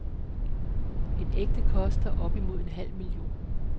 En ægte koster op imod en halv million.